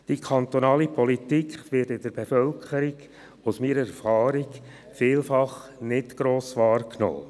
Die kantonale Politik wird in der Bevölkerung, gemäss meiner Erfahrung, vielfach nicht wahrgenommen.